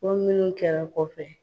Ko minnu kɛra kɔfɛ